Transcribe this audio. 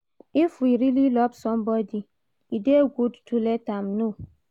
if we really love somebody, e dey good to let am know